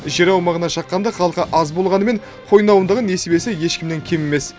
жер аумағына шаққанда халқы аз болғанымен қойнауындағы несібесі ешкімнен кем емес